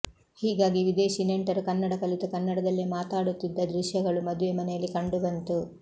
ಹೀಗಾಗಿ ವಿದೇಶಿ ನೆಂಟರು ಕನ್ನಡ ಕಲಿತು ಕನ್ನಡದಲ್ಲೆ ಮಾತಾಡುತ್ತಿದ್ದ ದೃಶ್ಯಗಳು ಮದುವೆ ಮನೆಯಲ್ಲಿ ಕಂಡು ಬಂತು